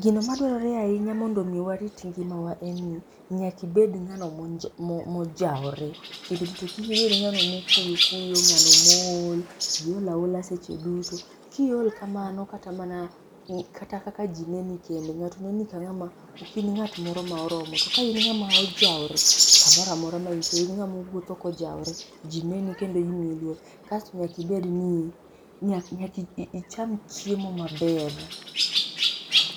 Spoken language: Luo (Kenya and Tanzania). Gino ma dwarore ahinya mondo omi warit ngima wa en ni, nyaka ibedo ngano ma ojawore kik ibedo ng'ano ma okuyo kuyo, ng'ano ma ool, iol aola seche duto ki iol kamano kaka mana kata kaka ji neni kendo ng'ato neni ka ng'a ma ok in ng'at moro ma oromo, to ka in ng'ama ojawore ka moro amora ma intie in ng'a ma wuotho ka ojaore ji neni kendo imiyi luor. Kasto nyaka ibed nyaka icham chiemo maber